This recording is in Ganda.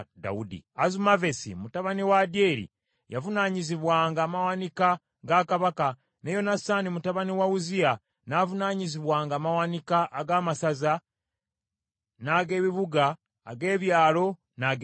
Azumavesi mutabani wa Adyeri yavunaanyizibwanga amawanika ga kabaka, ne Yonasaani mutabani wa Uzziya n’avunaanyizibwanga amawanika ag’amasaza n’ag’ebibuga, ag’ebyalo, n’ag’ebigo.